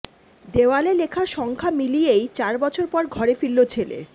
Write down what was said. দেওয়ালে লেখা সংখ্যা মিলিয়েই চার বছর পর ঘরে ফিরল ছেলে